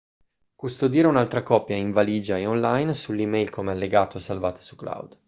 custodire un'altra copia in valigia e online sull'e-mail come allegato o salvata su cloud